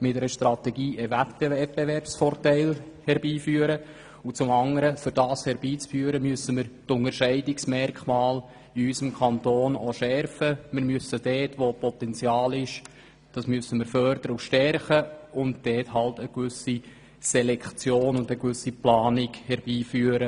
mit einer Strategie einen Wettbewerbsvorteil herbeiführen, und dafür müssen wir die Unterschiede in unserem Kanton schärfen, bestehendes Potenzial fördern und stärken und zudem eine übergreifende Selektion und Planung herbeiführen.